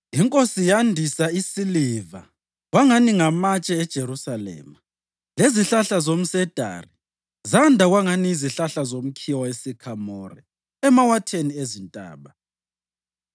Inkosi yandisa isiliva kwangani ngamatshe eJerusalema, lezihlahla zomsedari zanda kwangani yizihlahla zomkhiwa wesikhamore emawatheni ezintaba.